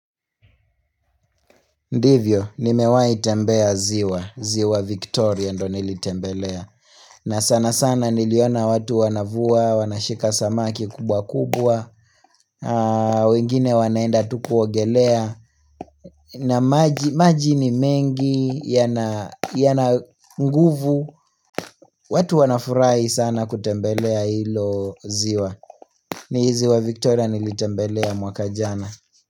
Ndivyo, nimewahi nitembea ziwa, ziwa Victoria ndo nilitembelea. Na sana sana niliona watu wanavua, wanashika samaki kubwa kubwa, wengine wanaenda tu kuogelea, na maji maji ni mengi yana nguvu, watu wanafurahi sana kutembelea hilo ziwa. Ni ziwa Victoria nilitembelea mwaka jana.